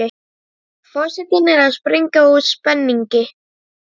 Forsetinn er að springa úr spenningi.